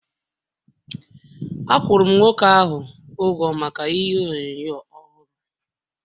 Akwuru m nwoke ahụ ụgwọ maka ihe onyonyo ọhụrụ